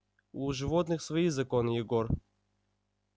у животных свои законы егор